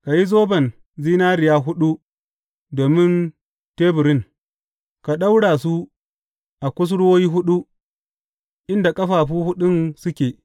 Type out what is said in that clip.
Ka yi zoban zinariya huɗu domin teburin, ka daure su a kusurwoyi huɗu, inda ƙafafu huɗun suke.